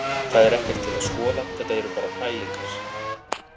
Það er ekkert til að skoða, þetta eru bara pælingar.